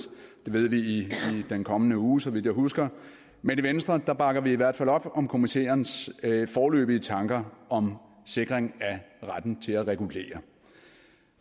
det ved vi i den kommende uge så vidt jeg husker men i venstre bakker vi i hvert fald op om kommissærens foreløbige tanker om sikring af retten til at regulere